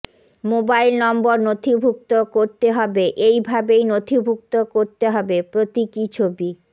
mobile নম্বর নথিভুক্ত করতে হবে এই ভাবেই নথিভুক্ত করতে হবে প্রতীকী ছবি